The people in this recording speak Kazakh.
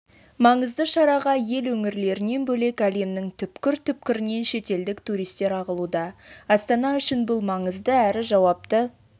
маңызды шараға ел өңірлерінен бөлек әлемнің түкпір-түкпірінен шетелдік туристер ағылуда астана үшін бұл маңызды әрі жауапты